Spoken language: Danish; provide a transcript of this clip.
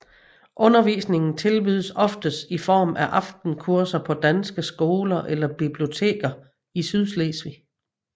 Undervisningen tilbydes oftest i form af aftenkurser på danske skoler eller biblioteker i Sydslesvig